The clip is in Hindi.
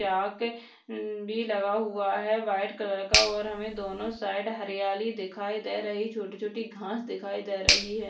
यहा के हम्म भी लगा हुया है व्हाइट कलर का और हमे दोन्हों साइड हरियाली दिखाई दे रही छोटी-छोटी घास दिखाई दे रही है।